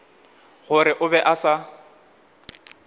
gore o be a sa